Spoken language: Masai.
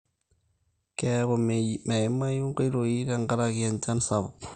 keeku meimayu inkoitoi te nkaraki enchan sapuk